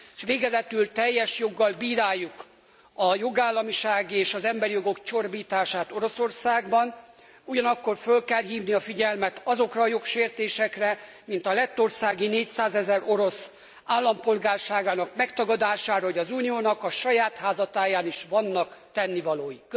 S végezetül teljes joggal bíráljuk a jogállamisági és az emberi jogok csorbítását Oroszországban, ugyanakkor föl kell hívni a figyelmet azokra a jogsértésekre, mint a lettországi 400000 orosz állampolgárságának megtagadására, hogy az Uniónak a saját háza táján is vannak tennivalói.